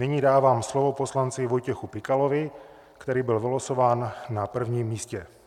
Nyní dávám slovo poslanci Vojtěchovi Pikalovi, který byl vylosován na prvním místě.